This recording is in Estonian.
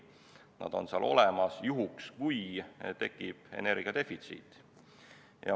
Nad on seal olemas juhuks, kui tekib energiadefitsiit.